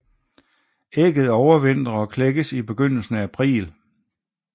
Ægget overvintrer og klækkes i begyndelsen af april